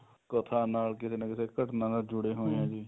ਕਥਾ ਨਾਲ ਕਿਸੇ ਨਾ ਕਿਸੇ ਘਟਣਾ ਨਾਲ ਜੁੜੇ ਹੁੰਦੇ ਆ ਜੀ